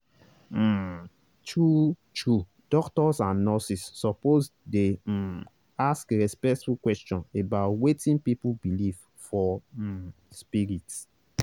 um true-true doctors and nurses suppose dey um ask respectful question about wetin people believe for um spirit.